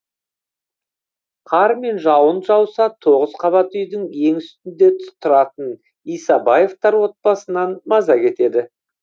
қар мен жауын жауса тоғыз қабат үйдің ең үстінде тұратын исабаевтар отбасынан маза кетеді